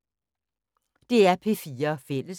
DR P4 Fælles